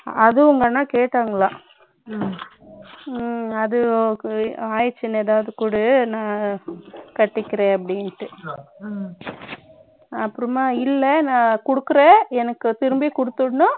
அது உங்க அண்ணா கேட்டாங்களா அது ஆயிடுச்சின்னா ஏதாவது குடு நான் கட்டிக்கிறேன் அப்படின்னு அப்புறமா இல்ல நான் கொடுக்கிற எனக்கு திரும்பி கொடுத்தரனும்